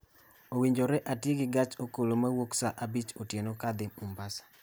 Owinjore ati gi gach okolo mawuok saa abich otieno kadhi Mombasa